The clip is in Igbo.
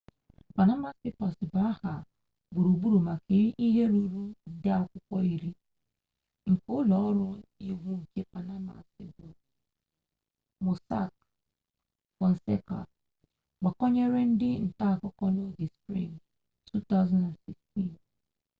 panama papers bụ aha gburugburu maka ihe ruru nde akwụkwọ iri nke ụlọ ọrụ iwu nke panama bụ mossack fonseca gbakwunyere ndị nta akụkọ n'oge sprịng 2016